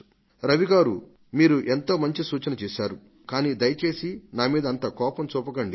రవి గారు మీరు ఎంతో మంచి సూచన చేశారు కానీ దయచేసి నా మీద అంత కోపం వద్దండి